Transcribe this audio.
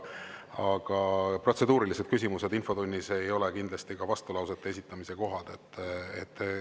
Aga protseduuriline küsimus infotunnis ei ole kindlasti vastulause esitamise koht.